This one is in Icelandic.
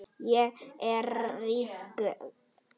Ég er ráðrík.